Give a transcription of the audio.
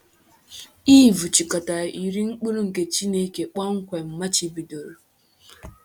Iv chịkọtara iri mkpụrụ nke Chineke kpọmkwem machibidoro.